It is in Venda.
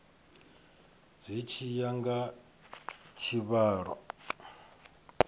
zwi tshi ya nga tshivhalo